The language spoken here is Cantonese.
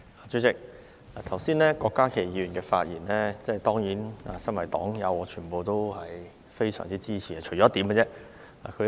主席，對於郭家麒議員剛才的發言，我身為黨友當然十分支持，除了其中一點。